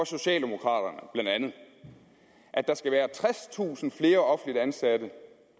socialdemokraterne at der skal være tredstusind flere offentligt ansatte